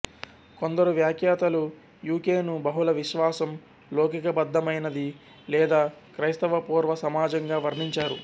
కొందరు వ్యాఖ్యాతలు U K ను బహుళ విశ్వాసం లౌకికబద్ధమైనది లేదా క్రైస్తవపూర్వ సమాజంగా వర్ణించారు